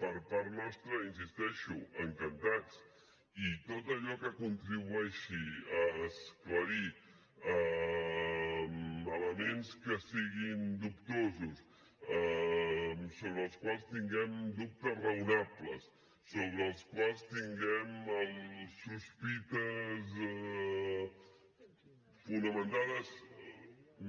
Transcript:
per part nostra hi insisteixo encantats i tot allò que contribueixi a esclarir elements que siguin dubtosos sobre els quals tinguem dubtes raonables sobre els quals tinguem sospites fonamentades